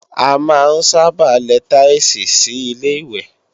A máa ń sábà lẹ táílsìì sí Ilé-ìwẹ̀